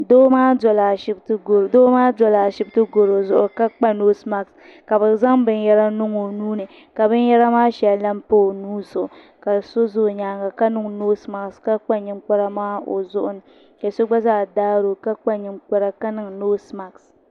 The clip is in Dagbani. Doo maa dola ashipti goro zuɣu ka kpa noosi maaki la bɛ zaŋ binyera niŋ o nuuni ka binyera maa sheŋa lahi pa o nuuni ka so za o nyaanga ka niŋ noosi maaki ka kpa ninkpara. maa o zuɣuni ka so gba zaa daari o ka kpa ninkpara ka niŋ noosi maaki.